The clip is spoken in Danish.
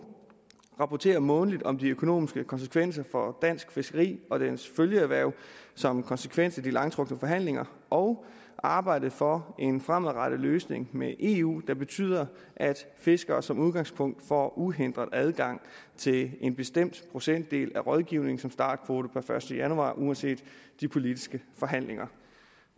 rapportere månedligt om de økonomiske konsekvenser for dansk fiskeri og dets følgeerhverv som konsekvens af de langtrukne forhandlinger og arbejde for en fremadrettet løsning med eu der betyder at fiskere som udgangspunkt får uhindret adgang til en bestemt procentdel af rådgivningen som startkvote per første januar uanset de politiske forhandlinger